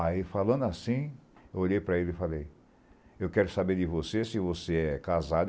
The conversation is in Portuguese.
Aí, falando assim, eu olhei para ele e falei, eu quero saber de você, se você é casado.